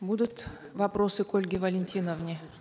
будут вопросы к ольге валентиновне